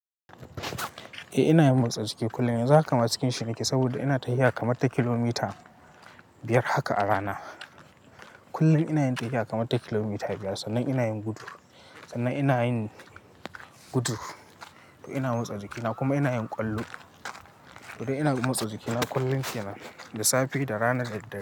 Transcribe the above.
Eh ina yin motsa jiki kullum. Yanzu haka ma cikin shi nake saboda ina tafiya kamar ta kilomita biyar haka a rana. Kullum ina yin tafiya kamar ta kilomita biyar sannan ina yin gudu. Sannan ina yin gudu, ina motsa jikina kuma ina yin ƙwallo. To dai ina motsa jikina kullum yana da safe da rana da daddare.